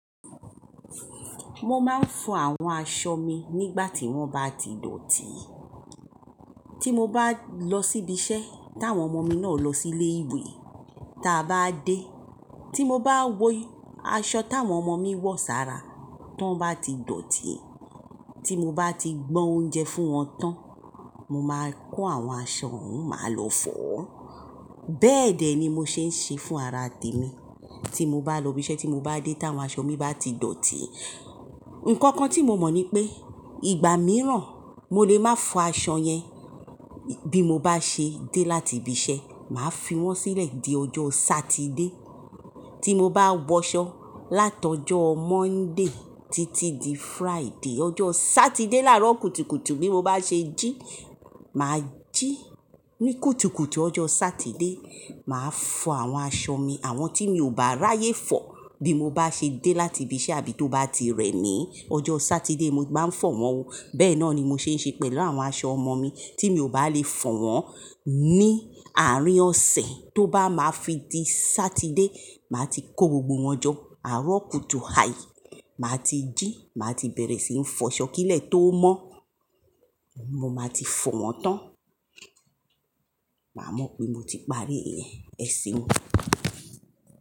Mo máa ń fọ àwọn aṣọ mi nígbà tí wọ́n bá ti dọ̀tí. Tí mo bá lọ sí ibi iṣẹ́ táwọn ọmọ mi náà lọ sí ilé ìwé, táa bá dé, tí mo bá wò aṣọ táwọn ọmọ mi wọ̀ sára, tó bá ti dọ̀tí, tí mo bá ti gbọn oúnjẹ fún wọn tán, mo máa kó àwọn aṣọ wọ́n, màá lọ fọ̀ ọ́. Bẹ́ẹ̀ dẹ̀ ni mo ṣe ń ṣe fún ara tèmi. Tí mo bá lọ ibi iṣẹ́ tí mo bá dé tá wọn aṣọ mi bá ti dọ̀tí, ǹkan kan tí mo mọ̀ ni pé ìgbà mìíràn mo lè máa fọ aṣọ yẹn bí mo bá ṣe dé láti ibi iṣẹ́, màá fi wọ́n sílẹ̀ di ọjọ́ Sátidé. Tí mo bá wọ aṣọ látọjọ́ Monday títí di Friday, ọjọ́ Sátidé làárọ̀ kùtùkùtù bí mo bá ṣe jí, mà á jí ní kùtùkùtù ọjọ́ Sátidé, mà á fọ àwọn aṣọ mi, àwọn tí mi ò bá ráyé fọ̀ bí mo bá ṣe dé láti ibi iṣẹ́ àbí tó bá ti rẹ mí, ọjọ́ Sátidé mo máa ń fọ̀ wọ́n o. Bẹ́ẹ̀ náà ni mo ṣe ń ṣe pẹ̀lú àwọn aṣọ ọmọ mi tí mi ò bá lè fọ̀ wọ́n ní àárín ọ̀sẹ̀, tó bá máa fi di Sátidé, màá ti kó gbogbo wọn jọ àárọ̀ kùtù hà í, màá ti jí, màá ti bẹ̀rẹ̀ sí ń fọ ṣó kílẹ̀ tó mọ́, mo máa ti fọ̀ wọ́n tán. Màá mọ̀ pé mo ti parí iyen ẹ̀ seun.